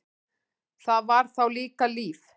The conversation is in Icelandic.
Það var þá líka líf!